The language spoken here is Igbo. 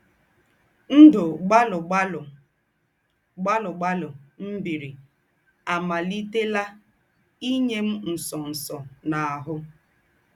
Ndụ̀ gbàlụ̀ gbàlụ̀ gbàlụ̀ gbàlụ̀ m̀ bìrì ámàlìtèlà ínyè m̀ ńsọ̀nsọ̀ n’áhụ̀. ”